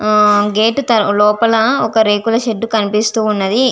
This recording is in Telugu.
ఆ గేట్ లోపల రేకుల షెడ్ కనిపిస్తూ వున్నది.